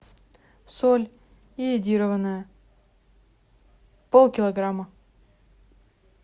соль йодированная полкилограмма